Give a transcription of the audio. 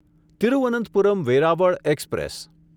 Thiruvananthapuram Veraval express